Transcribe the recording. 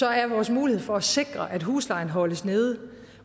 er vores mulighed for at sikre at huslejen holdes nede